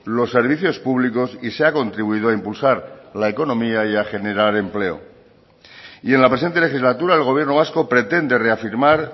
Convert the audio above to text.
los servicios públicos y se ha contribuido a impulsar la economía y a generar empleo y en la presente legislatura el gobierno vasco pretende reafirmar